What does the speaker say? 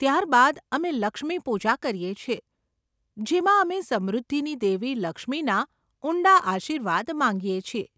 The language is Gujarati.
ત્યારબાદ, અમે 'લક્ષ્મી પૂજા' કરીએ છીએ, જેમાં અમે સમૃદ્ધિની દેવી લક્ષ્મીના ઊંડા આશીર્વાદ માંગીએ છીએ.